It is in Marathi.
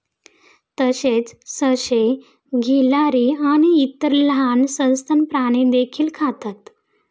तसेच, ससे, गिल्हारी आणि इतर लहान सस्तन प्राणी देखील खातात.